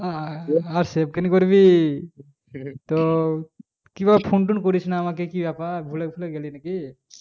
আহ save কেন করবি তো কি ব্যাপার phone টন করিসনা আমাকে কি ব্যাপার ভুলে ফুলে গেলি নাকি